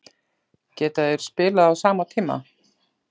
Geta þeir spilað á sama tíma?